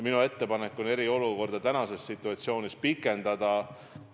Minu ettepanek on eriolukorda tänases situatsioonis pikendada.